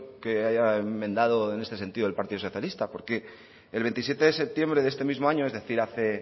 que haya enmendado en este sentido el partido socialista porque el veintisiete de septiembre de este mismo año es decir hace